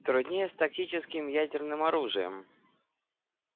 труднее с тактическим ядерным оружием